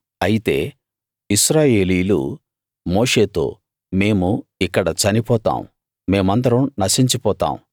అయితే ఇశ్రాయేలీయులు మోషేతో మేము ఇక్కడ చనిపోతాం మేమందరం నశించిపోతాం